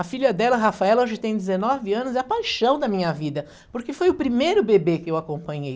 A filha dela, a Rafaela, hoje tem dezenove anos, é a paixão da minha vida, porque foi o primeiro bebê que eu acompanhei.